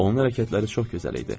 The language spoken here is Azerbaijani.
Onun hərəkətləri çox gözəl idi.